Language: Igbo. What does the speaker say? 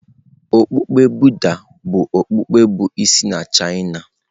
Okpukpe Buddha bụ okpukpe bụ isi na China.